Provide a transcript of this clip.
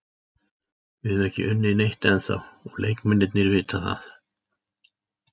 Við höfum ekki unnið neitt ennþá og leikmennirnir vita það.